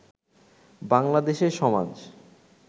বাংলাদেশে সমাজ